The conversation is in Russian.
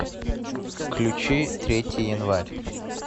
включи третий январь